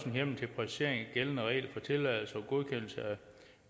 en hjemmel til præcisering af de gældende regler for tilladelser og godkendelser af